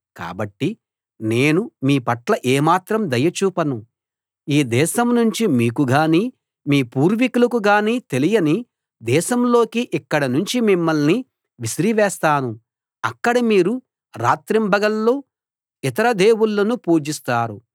కాబట్టి నేను మీ పట్ల ఏమాత్రం దయ చూపను ఈ దేశం నుంచి మీకు గానీ మీ పూర్వీకులకు గానీ తెలియని దేశంలోకి ఇక్కడ నుంచి మిమ్మల్ని విసిరివేస్తాను అక్కడ మీరు రాత్రింబగళ్ళు ఇతర దేవుళ్ళను పూజిస్తారు